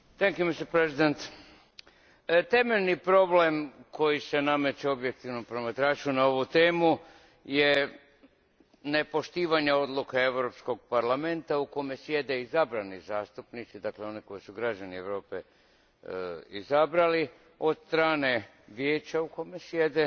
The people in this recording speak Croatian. Gospodine predsjedniče, temeljni problem koji se nameće objektivnom promatraču na ovu temu je nepoštivanje odluka Europskog parlamenta u kojem sjede izabrani zastupnici, dakle oni koje su građani Europe izabrali od strane Vijeća u kojem sjede